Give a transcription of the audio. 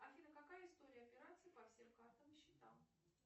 афина какая история операций по всем картам и счетам